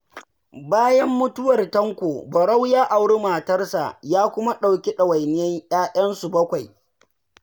Bayan mutuwar Tanko, Barau ya auri matarsa, kuma ya ɗauki ɗawainiyar 'ya'yanta su 7.